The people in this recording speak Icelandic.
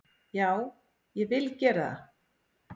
Já, ég vil gera það.